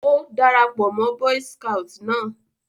Ó dara pọ̀ mọ́ boy's scout náà